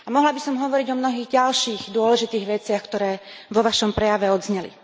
A mohla by som hovoriť o mnohých ďalších, dôležitých veciach, ktoré vo vašom prejave odzneli.